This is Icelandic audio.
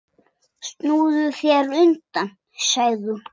Snúðu þér undan, sagði hún.